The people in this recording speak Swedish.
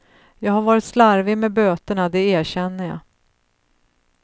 Jag har varit slarvig med böterna, det erkänner jag.